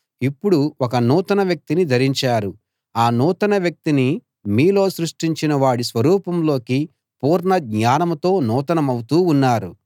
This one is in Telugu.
ఇప్పుడు ఒక నూతన వ్యక్తిని ధరించారు ఆ నూతన వ్యక్తిని మీలో సృష్టించిన వాడి స్వరూపంలోకి పూర్ణ జ్ఞానంతో నూతనమవుతూ ఉన్నారు